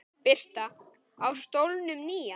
Birta: Á stólnum nýja?